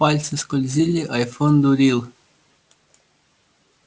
пальцы скользили айфон дурил